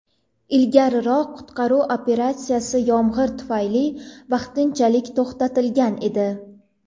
Ilgariroq qutqaruv operatsiyasi yomg‘ir tufayli vaqtinchalik to‘xtatilgan edi.